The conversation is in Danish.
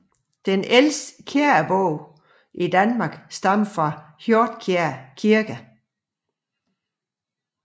Den ældste kirkebog i Danmark stammer fra Hjordkjær Kirke